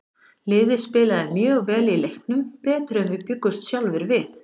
Liðið spilaði mjög vel í leiknum, betur en við bjuggumst sjálfir við.